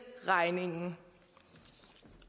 regningen